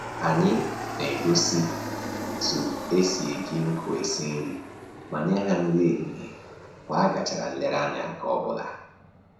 Anyị na-egosi otu esi eji nkụ esi nri ma nye ha nri ehihie mgbe a gachara nlereanya nke ọbụla